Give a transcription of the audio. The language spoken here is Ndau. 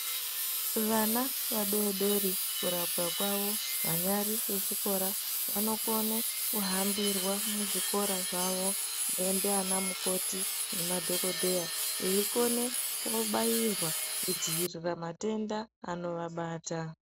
Vana vadodori kurapwa kwavo vanyari vechikora vanokone kuhambirwa muzvikora zvavo ndiana mukoti nemadhokodheya veikone kubairwa kudzivirira matenda anovabata.